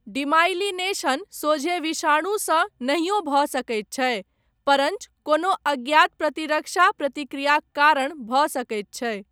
Demyelination सोझे विषाणुसँ नहियो भऽ सकैत छै परञ्च कोनो अज्ञात प्रतिरक्षा प्रतिक्रियाक कारण भऽ सकैत छै।